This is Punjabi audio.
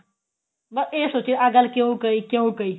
ਬੱਸ ਇਹ ਸੋਚੀ ਜਾਣਾ ਆਹ ਗੱਲ ਕਿਉਂ ਕਹੀ ਕਿਉਂ ਕਹੀ